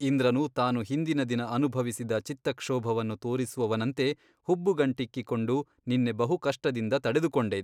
ಇಂದ್ರನು ತಾನು ಹಿಂದಿನ ದಿನ ಅನುಭವಿಸಿದ ಚಿತ್ತಕ್ಷೋಭವನ್ನು ತೋರಿಸುವವನಂತೆ ಹುಬ್ಬುಗಂಟಿಕ್ಕಿಕೊಂಡು ನಿನ್ನೆ ಬಹು ಕಷ್ಟದಿಂದ ತಡೆದುಕೊಂಡೆ.